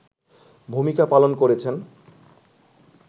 ভূমিকা পালন করেছেন